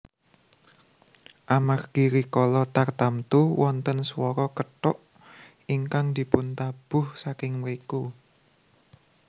Amargi rikala tartamtu wonten swara kethuk ingkang dipuntabuh saking mriku